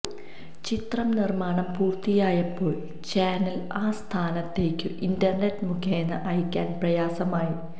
ചിത്രം നിര്മ്മാണം പൂര്ത്തിയായപ്പോള് ചാനല് ആസ്ഥാനത്തേക്കു ഇന്റര്നെറ്റ് മുഖേന അയക്കാന് പ്രയാസമായി